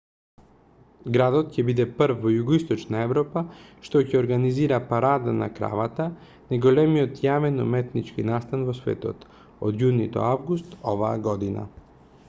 градот ќе биде прв во југоисточна европа што ќе организира парада на кравата најголемиот јавен уметнички настан во светот од јуни до август оваа година